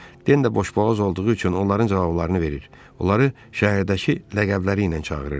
Den də boşboğaz olduğu üçün onların cavablarını verir, onları şəhərdəki ləqəbləri ilə çağırırdı.